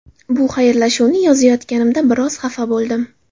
Bu xayrlashuvni yozayotganimda biroz xafa bo‘ldim.